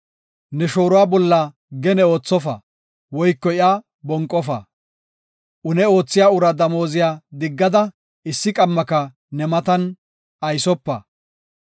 “Ne shooruwa bolla gene oothofa; woyko iya bonqofa. “Une oothiya uraa damooziya diggada, issi qammaka ne matan aysopa.